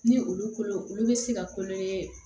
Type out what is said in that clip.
Ni olu kolo olu bɛ se ka kulo